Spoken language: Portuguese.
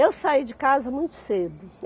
Eu saí de casa muito cedo.